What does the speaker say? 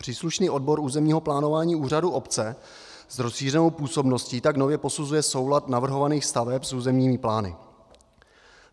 Příslušný odbor územního plánování úřadu obce s rozšířenou působností tak nově posuzuje soulad navrhovaných staveb s územními plány.